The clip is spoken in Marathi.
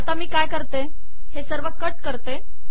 आता मी काय करते हे सर्व कट करते